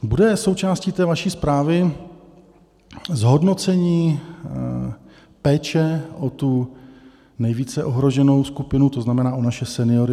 Bude součástí té vaší zprávy zhodnocení péče o tu nejvíce ohroženou skupinu, to znamená, o naše seniory?